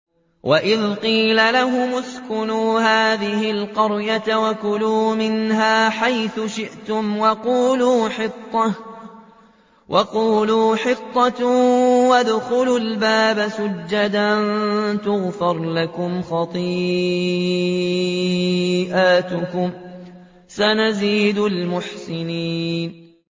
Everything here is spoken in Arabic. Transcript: وَإِذْ قِيلَ لَهُمُ اسْكُنُوا هَٰذِهِ الْقَرْيَةَ وَكُلُوا مِنْهَا حَيْثُ شِئْتُمْ وَقُولُوا حِطَّةٌ وَادْخُلُوا الْبَابَ سُجَّدًا نَّغْفِرْ لَكُمْ خَطِيئَاتِكُمْ ۚ سَنَزِيدُ الْمُحْسِنِينَ